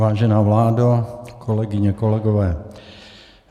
Vážená vládo, kolegyně, kolegové.